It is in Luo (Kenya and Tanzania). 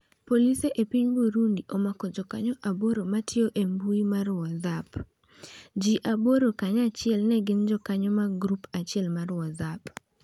Polis e piny Burundi omako jokanyo aboro matiyo e mbui mar WhatsApp. Ji aboro kanyachiel ne gin jokanyo mag grup achiel mar WhatsApp.